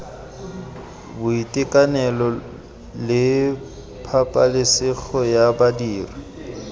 boitekanelo le pabalesego ya badiri